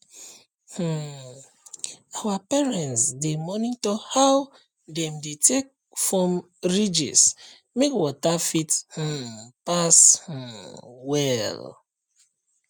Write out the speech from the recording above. um our parents dey monitor how dem dey take form ridge make water fit um pass um well